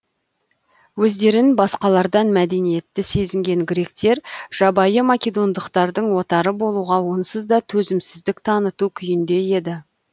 өздерін басқалардан мәдениетті сезінген гректер жабайы македондықтардың отары болуға онсыз да төзімсіздік таныту күйінде еді